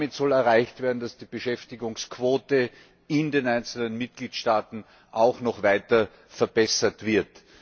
Damit soll erreicht werden, dass die Beschäftigungsquote in den einzelnen Mitgliedstaaten auch noch weiter verbessert wird.